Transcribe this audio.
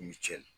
Ni ce